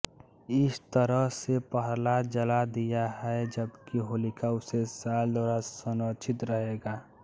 इस तरह से प्रहलाद जला दिया है जबकि होलिका उसे शाल द्वारा संरक्षित रहेगा